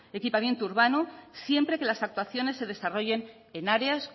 equipamiento urbano siempre que las actuaciones se desarrollen en áreas